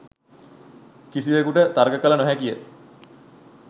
කිසිවෙකුට තර්ක කල නොහැකිය